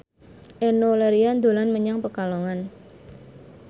Enno Lerian dolan menyang Pekalongan